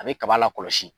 A bɛ kaba la kɔlɔsi